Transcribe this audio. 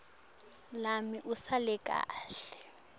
lami usale kahle